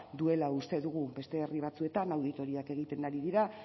duela uste dugu beste herri batzuetan auditoriak egiten ari dira